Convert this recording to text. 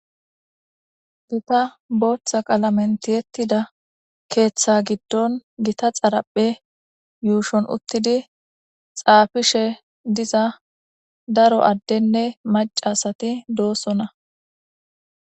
Gita booththa qalamentiyettida keeththa giddon gita xaraphe yuushon uttidi xaafishe diza daro addenne macasati doosona